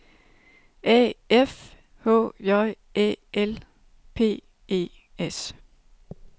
A F H J Æ L P E S